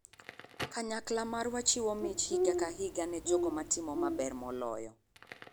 Kanyakla marwa chiwo mich higa ka higa ne jogo matimo maber moloyo.